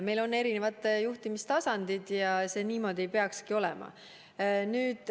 Meil on erinevad juhtimistasandid ja nii see peabki olema.